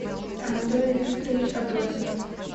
анатолий викторович абросимов